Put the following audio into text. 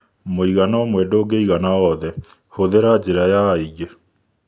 Mũigana ũmwe ndũngĩigana othe; hũthĩra njĩra ya aingĩ.